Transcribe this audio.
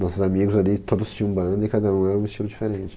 Nossos amigos ali, todos tinham banda e cada um era um estilo diferente.